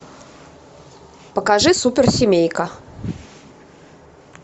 покажи суперсемейка